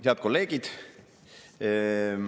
Head kolleegid!